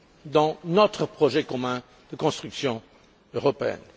dans notre projet commun de construction européenne.